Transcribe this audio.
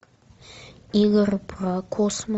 игры про космос